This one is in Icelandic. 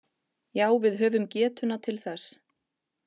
Já við höfum getuna til þess